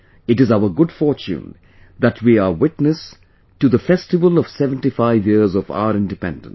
It is our good fortune that we are witness to the festival of 75 years of our Independence